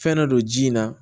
Fɛn dɔ don ji in na